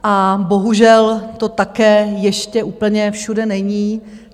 A bohužel to také ještě úplně všude není.